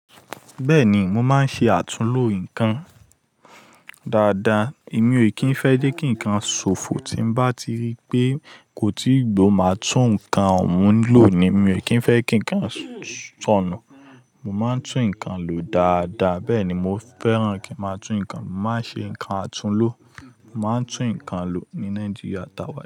Bẹ́ẹ̀ ni, mo máa ń ṣe àtúnlo nǹkan dáadáa. Èmi ò kí ń fẹ́ jé kí nǹkan ṣófo tí bá ti rí pé kò tíì gbó, màá tún nǹkan ọ̀hún lò ni. Èmi ò kí ń fẹ́ kí nǹkan sọ̀nù. Mo máa ń tún nǹkan lò dáadáa. Bẹ́ẹ̀ ni mo fẹ́ràn kí máa tún nǹkan. Mo máa ń ṣe nǹkan àtúnlo. Mo máa ń tún nǹkan lò ní Nàìjíríà tawa.